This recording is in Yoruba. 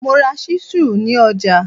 Mo ra ṣísù ní ọjà.